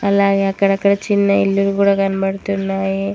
అలాగే అక్కడక్కడ చిన్న ఇళ్ళులు గూడ కనపడుతున్నాయి.